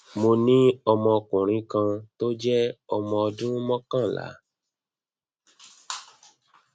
mo ní ọmọkùnrin kan tí ó jẹ ọmọ ọdún mokanla